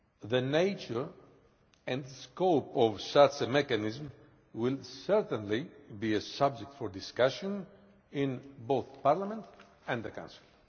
The nature and the scope of such a mechanism will certainly be a subject for discussion in both Parliament and the Council.